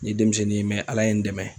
N ydenmisɛnnin ye ala ye n dɛmɛ.